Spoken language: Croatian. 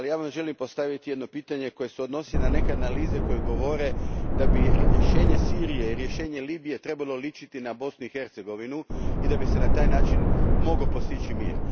Želim vam postaviti pitanje koje se odnosi na neke analize koje govore da bi rješenje Sirije i Libije trebalo sličiti na Bosnu i Hercegovinu i da bi se na taj način mogao postići mir.